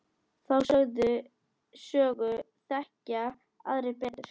Þá sögu þekkja aðrir betur.